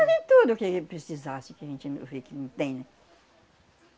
Mas em tudo o que ele precisasse, que a gente, eu vê que não tem, né?